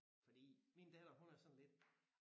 Fordi min datter hun er sådan lidt